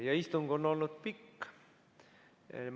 Ja istung on olnud pikk.